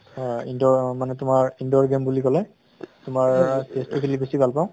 হয় indoor মানে তোমাৰ indoor game বুলি কলে তোমাৰ chess টো খেলি বেছি ভাল পাওঁ